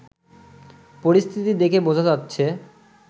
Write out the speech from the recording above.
পরিস্থিতি দেখে বোঝা যাচ্ছে